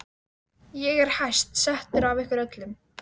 Ég er hæst settur af ykkur öllum!